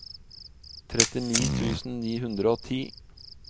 trettini tusen ni hundre og ti